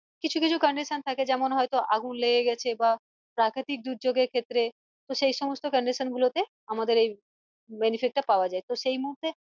কিছু কিছু condition থাকে যেমন হয়তো আগুন লেগে গেছে বা প্রাকৃতিক দুর্যোগের ক্ষেত্রে তো সেই সমস্ত condition গুলোতে আমাদের এই benefit টা পাওয়া যাই তো সেই মুহূর্তে